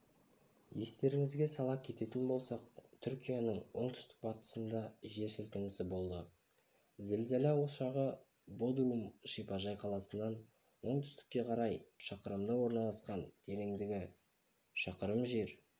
естеріңізге сала кететін болсақ түркияның оңтүстік-батысында жер сілкінісі болды зілзала ошағы бодрум шипажай қаласынан оңтүстікке қарай шақырымда орналасқан тереңдігі шақырым жер